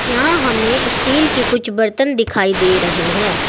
यहां हमें स्टील के कुछ बर्तन दिखाई दे रहे हैं